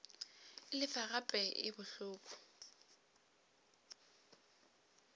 e lefa gape e bohloko